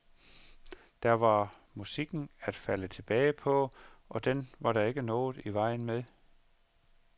Der var musikken at falde tilbage på, og den var der ikke noget i vejen med.